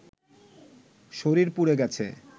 শরীর পুড়ে গেছে